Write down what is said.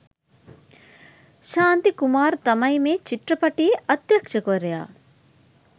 ශාන්ති කුමාර් තමයි මේ චිත්‍රපටියේ අධ්‍යක්‍ෂවරයා.